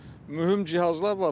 Çünki mühüm cihazlar var.